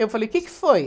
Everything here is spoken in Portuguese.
Eu falei, o que que foi?